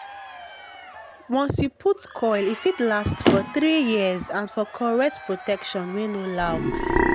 once you put coil e fit last for 3yrs as for correct protection wey no loud